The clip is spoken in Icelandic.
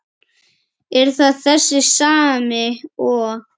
Er það þessi sami og.